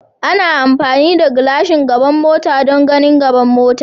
Ana amfani da gashin gaban mota don ganin gaban mota.